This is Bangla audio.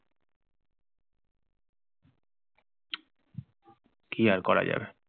কি আর করা যাবে!